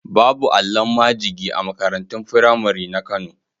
Babu allon majigi a makarantun firamari na Kano.